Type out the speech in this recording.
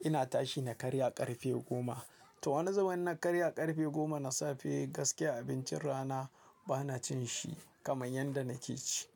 ina tashi na karya ƙarfe goma. To wani zubin na karya ƙarfe goma na safe gaskiya abincin rana bana cin shi kamar yadda nake ci.